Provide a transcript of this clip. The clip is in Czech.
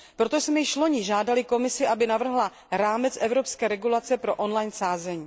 Proto jsme již loni žádali Komisi, aby navrhla rámec evropské regulace pro on line sázení.